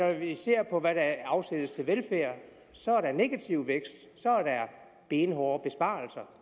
vi ser på hvad der afsættes til velfærd så er der negativ vækst så er der benhårde besparelser